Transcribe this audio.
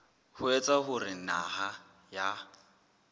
ho etsa hore naha ya